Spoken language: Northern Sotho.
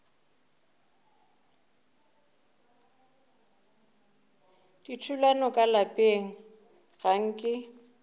dithulano ka lapeng ga nke